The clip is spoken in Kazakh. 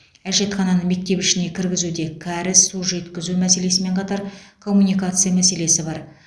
әжетхананы мектеп ішіне кіргізуде кәріз су жеткізу мәселесімен қатар коммуникация мәселесі бар